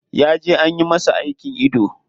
Ya je anyi masa aikin ido.